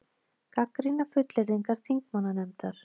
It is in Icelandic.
Gagnrýna fullyrðingar þingmannanefndar